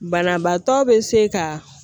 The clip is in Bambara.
Banabaatɔ be se ka